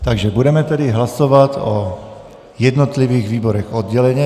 Takže tedy budeme hlasovat o jednotlivých výborech odděleně.